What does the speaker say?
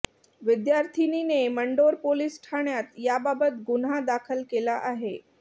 विद्यार्थिनीने मंडोर पोलीस ठाण्यात याबाबत गुन्हा दाखल केला आहे